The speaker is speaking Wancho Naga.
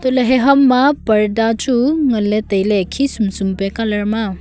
hantoh ley he ham ma parda chu ngan ley tai ley khi sum khi pe colour ma a.